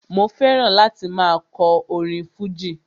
Mo fẹ́ràn láti máa kọ orin fújì